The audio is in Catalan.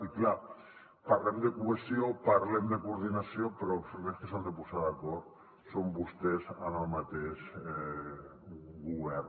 i és clar parlem de cohesió parlem de coordinació però els primers que s’han de posar d’acord són vostès en el mateix govern